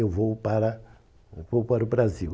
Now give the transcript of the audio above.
Eu vou para eu vou para o Brasil.